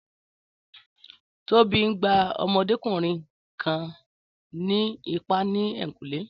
Tóbi ń gbá ọmọdékùnrin kan ní ìpá ní ẹ̀yìnkùlé